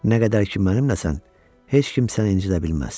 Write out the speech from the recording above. Nə qədər ki mənimləsən, heç kim səni incidə bilməz.